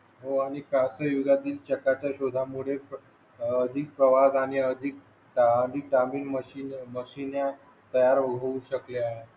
हो आणि कासले युगातील चाकाच्या शोधामुळे अधिक प्रवास आणि अधिक मशिन तयार होऊ शकले आहे